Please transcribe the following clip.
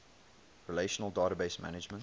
relational database management